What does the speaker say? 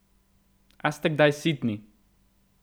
A ste kdaj sitni?